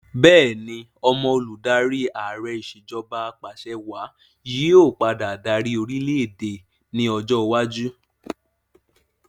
Bẹẹni, ọmọ olùdarí Ààrẹ ìsèjọba apàṣẹwà yí ọ padà dárí orìlẹ̀-èdè ni ọjọ́ iwájú